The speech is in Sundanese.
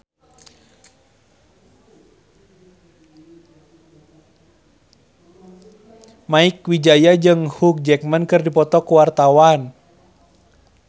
Mieke Wijaya jeung Hugh Jackman keur dipoto ku wartawan